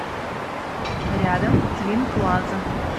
рядом твинплаза